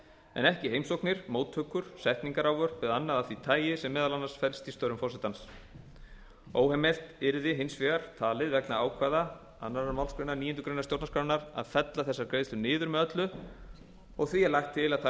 en ekki heimsóknir móttökur setningarávörp og annað af því tagi sem meðal annars felst í störfum forsetans óheimilt yrði hins vegar talið vegna ákvæða annarrar málsgreinar níundu grein stjórnarskrárinnar að fella þessar greiðslur niður með öllu og því lagt til að þær